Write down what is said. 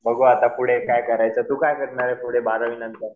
बघू आता पुढे काय करायचं. तू काय करणार ये पुढे बारावीनंतर?